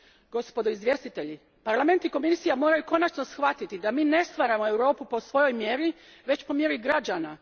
Gospodo izvjestitelji, Parlament i Komisija moraju konačno shvatiti da mi ne stvaramo Europu po svojoj mjeri, već po mjeri građana.